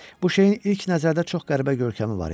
Bu şeyin ilk nəzərdə çox qəribə görkəmi var idi.